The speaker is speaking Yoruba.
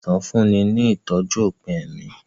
Ilé ìwòsàn ń fúnni ní ìtọ́jú òpin ẹ̀mí